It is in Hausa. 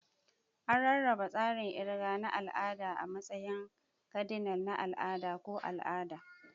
An rarraba tsarin kirga na al'ada a matsayin kadinal, na al'ada, ko al'ada.